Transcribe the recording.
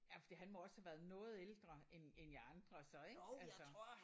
Ja fordi han må også have været noget ældre end end jer andre så ik altså